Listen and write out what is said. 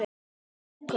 Hvílík lúka!